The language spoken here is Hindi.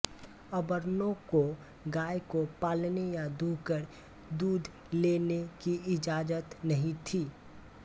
अवर्णों को गाय को पालने या दुहकर दूध लेने की इज़ाज़त नहीं थी